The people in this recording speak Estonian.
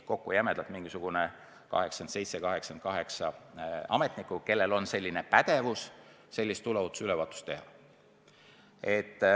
Kokku siis 87–88 ametnikku, kellel on pädevus tuleohutusülevaatust teha.